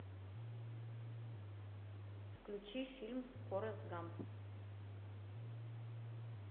включи фильм форест гамп